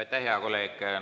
Aitäh, hea kolleeg!